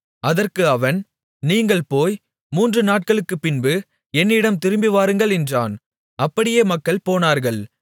அதற்கு அவன் நீங்கள் போய் மூன்று நாட்களுக்குப் பின்பு என்னிடம் திரும்பிவாருங்கள் என்றான் அப்படியே மக்கள் போனார்கள்